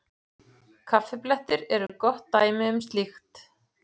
Kaffiblettir eru gott dæmi um slíkt.